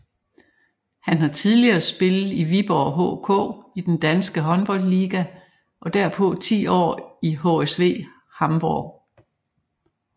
Han har tidligere spillet i Viborg HK i den danske Håndboldliga og derpå ti år i HSV Hamburg